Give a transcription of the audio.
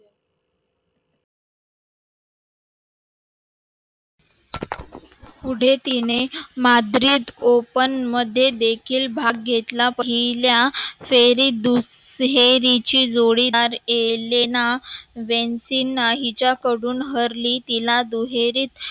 पुढे तिने madrid open मध्ये देखील भाग घेतला. पहिल्या दुहेरीची जोडीदार एलिना वेनतिणा हीच्याकडून हरली. तिला दुहेरी